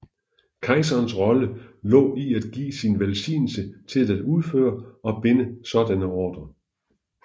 Kejserens rolle lå i at give sin velsignelse til at udføre og binde sådanne ordrer